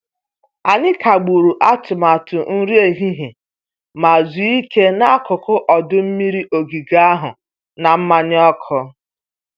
Anyị kagburu atụmatụ nri ehihie ma zuo ike n'akụkụ ọdọ mmiri ogige ahụ na mmanya ọkụ.